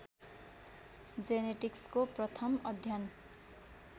जेनेटिक्सको प्रथम अध्ययन